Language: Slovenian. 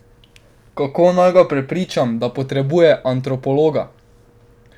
Kako naj ga prepričam, da potrebuje antropologa?